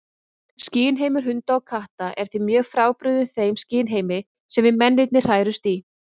Skynheimur hunda og katta er því mjög frábrugðinn þeim skynheimi sem við mennirnir hrærumst í.